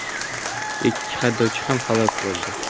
Ikki haydovchi ham halok bo‘ldi.